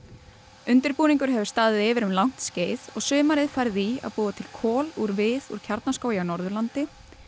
undirbúningur hefur staðið yfir um langt skeið og sumarið farið í að búa til kol úr við úr Kjarnaskógi á Norðurlandi